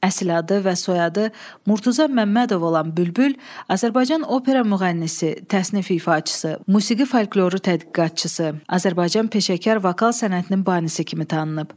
Əsl adı və soyadı Murtuza Məmmədov olan Bülbül Azərbaycan opera müğənnisi, təsnif ifaçısı, musiqi folkloru tədqiqatçısı, Azərbaycan peşəkar vokal sənətinin banisi kimi tanınıb.